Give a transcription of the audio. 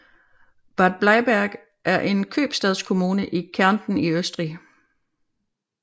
Bad Bleiberg er en købstadskommune i Kärnten i Østrig